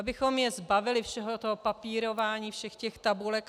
Abychom je zbavili všeho toho papírování, všech těch tabulek.